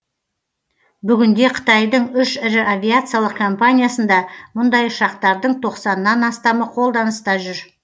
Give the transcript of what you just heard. бүгінде қытайдың үш ірі авиациялық компаниясында мұндай ұшақтардың тоқсаннан астамы қолданыста жүр